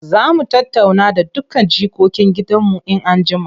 Za mu tattauna da dukkan jikokin gidanmu in an jima.